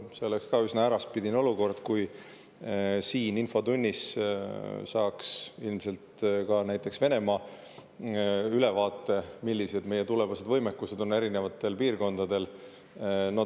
See oleks üsna äraspidine olukord, kui siin infotunnis saaks ka näiteks Venemaa ülevaate, millised meie tulevased võimekused on erinevates piirkondades.